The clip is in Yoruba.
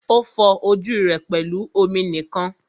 O fọ ojú rẹ pẹlú omi nìkan.